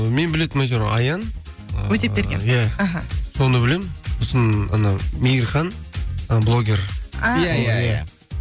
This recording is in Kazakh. ы мен білетінім әйтеуір аян ыыы өтепберген иә аха соны білемін сосын анау мейірхан ы блогер а иә иә